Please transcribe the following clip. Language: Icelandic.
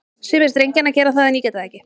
Sumir drengjanna gera það, en ég get það ekki.